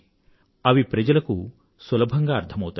అవి ప్రజలకు సులభంగా అర్థమౌతాయి